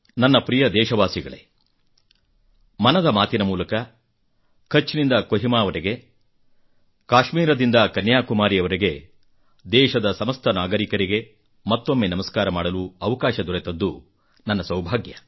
ನನ್ನ ಪ್ರಿಯ ದೇಶವಾಸಿಗಳೇ ಮನದ ಮಾತಿನ ಮೂಲಕ ಕಛ್ ನಿಂದ ಕೊಹಿಮಾವರೆಗೆ ಕಾಶ್ಮೀರದಿಂದ ಕನ್ಯಾಕುಮಾರಿಯವರೆಗೆ ದೇಶದ ಸಮಸ್ತ ನಾಗರಿಕರಿಗೆ ಮತ್ತೊಮ್ಮೆ ನಮಸ್ಕಾರ ಮಾಡಲು ಅವಕಾಶ ದೊರೆತದ್ದು ನನ್ನ ಸೌಭಾಗ್ಯ